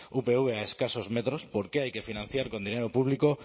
upv a escasos metros por qué hay que financiar con dinero público